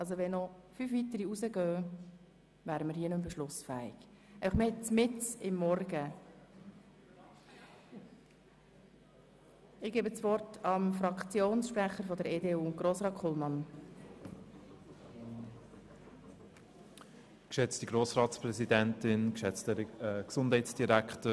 Sollten noch fünf weitere Personen den Saal verlassen, wären wir nicht mehr beschlussfähig, und das inmitten einer Morgensitzung.